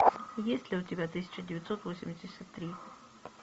есть ли у тебя тысяча девятьсот восемьдесят три